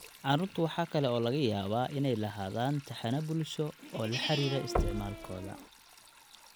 Carruurtu waxa kale oo laga yaabaa inay lahaadaan taxane bulsho oo la xidhiidha isticmaalkooda.